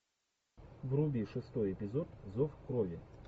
вруби шестой эпизод зов крови